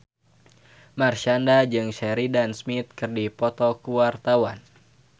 Marshanda jeung Sheridan Smith keur dipoto ku wartawan